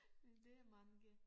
Men det er mange